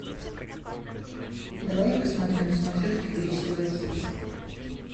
давай я посмотрю на смотрешке бридж тв хитс